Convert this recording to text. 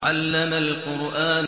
عَلَّمَ الْقُرْآنَ